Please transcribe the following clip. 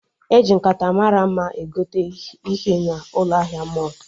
Eji nkata mara mma egote ihe n'ụlọ ahịa mọlụ